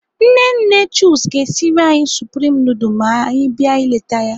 Nne nne Chuks ga-esiri anyị supreme nudul ma anyị bịa ileta ya.